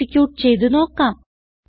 execute ചെയ്ത് നോക്കാം